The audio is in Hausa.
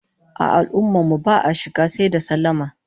A al'ummar mu ba'a shiga sai da sallama